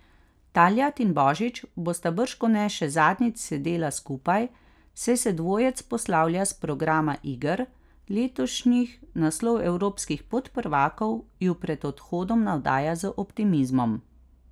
Taljat in Božič bosta bržkone še zadnjič sedela skupaj, saj se dvojec poslavlja s programa iger, letošnji naslov evropskih podprvakov ju pred odhodom navdaja z optimizmom.